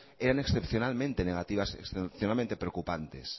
eran excepcionalmente negativas excepcionalmente preocupantes